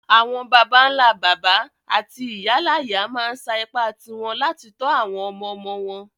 Àwon bàbánlá-bàbá áti ìyáláyá ma n sa ipá ti won láti to àwon ọmọ-ọmọ won